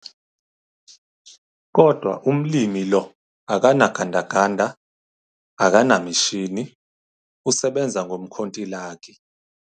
Kodwa umlimi lo akano gandaganda, akanemishini, usebenza ngomkhontilaki.